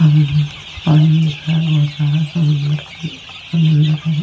सामने पानी दिख रहा है बहुत सारा समुंदर समुंदर है।